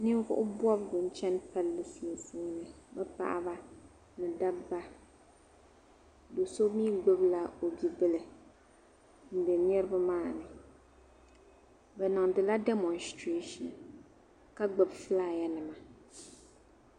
Niribi.n ʒiya bɛ chanila demostresion ,bɛmi galisiya, ka ŋubila ye liiga yelɔw kapiri shuu, ka sɔ jinjam sabinli , ka zaŋ liiga piɛli lɔ ɔ sheeni ka ŋun bala zaŋ dɔɣi tirɔ